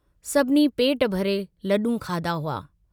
सभिनी पेट भरे लडूं खाधा हुआ।